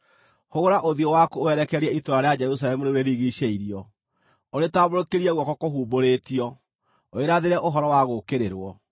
Hũgũra ũthiũ waku ũwerekerie itũũra rĩa Jerusalemu rĩu rĩrigiicĩirio, ũrĩtambũrũkĩrie guoko kũhumbũrĩtio, ũrĩrathĩre ũhoro wa gũũkĩrĩrwo.